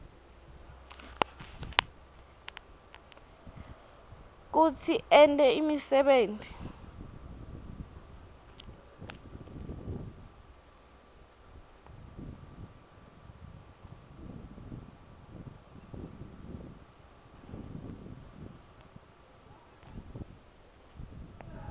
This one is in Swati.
kutsi ente imisebenti